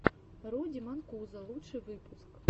руди манкузо лучший выпуск